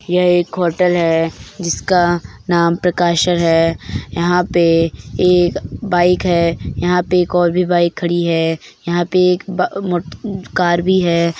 यह एक होटल है जिसका नाम प्रकाश है यहाँ पे एक बाइक है यहाँ पे एक और भी बाइक खड़ी है यहाँ पे एक ब मोट कार भी है।